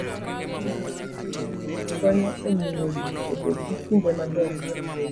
Ng'iyo pikipiki konyo e miyo ji obed gi kinde maber mar wuoyo.